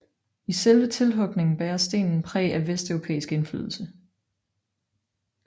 I selve tilhugningen bærer stenen præg af vesteuropæisk indflydelse